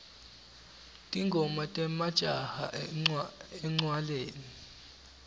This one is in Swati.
tingoma temajaha encwaleni